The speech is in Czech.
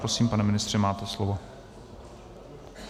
Prosím, pane ministře, máte slovo.